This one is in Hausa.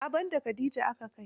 A'a ban da khadija aka kai.